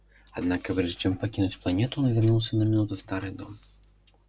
однако прежде чем покинуть планету он вернулся на минуту в старый дом